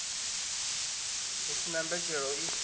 hu si na mbetshelo i